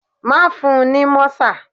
Má fun ní mọ́sà.